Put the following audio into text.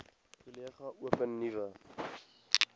kollege open nuwe